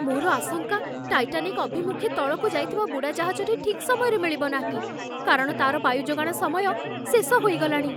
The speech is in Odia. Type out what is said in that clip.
ମୋର ଆଶଙ୍କା, ଟାଇଟାନିକ୍ ଅଭିମୁଖେ ତଳକୁ ଯାଇଥିବା ବୁଡ଼ାଜାହାଜଟି ଠିକ୍ ସମୟରେ ମିଳିବ ନାହିଁ, କାରଣ ତା'ର ବାୟୁ ଯୋଗାଣ ସମୟ ଶେଷ ହୋଇଗଲାଣି।